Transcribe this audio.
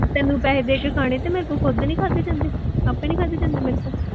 ਤੈਨੂੰ ਪੈਸੇ ਦੇ ਕੇ ਖਾਣੇ ਤੇ ਮੇਰੇ ਤੋਂ ਖੁਦ ਨੀ ਖਾਧੇ ਜਾਂਦੇ, ਆਪੇ ਨੀ ਖਾਧੇ ਨੀ ਜਾਂਦੇ ਮੇਰੇ ਕੋਲੋਂ